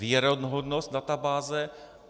Věrohodnost databáze.